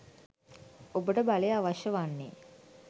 ඔබට බලය අවශ්‍ය වන්නේ